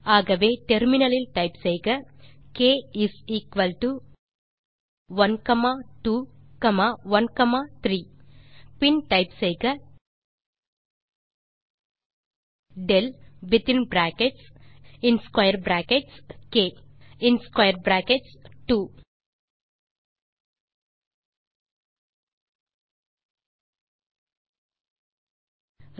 ஆகவே டெர்மினல் இல் டைப் செய்க க் இஸ் எக்குவல் டோ 12 13 மற்றும் பின் டைப் செய்க del வித்தின் பிராக்கெட்ஸ் மற்றும் ஸ்க்வேர் பிராக்கெட்ஸ் க் மற்றும் ஸ்க்வேர் பிராக்கெட்ஸ் 2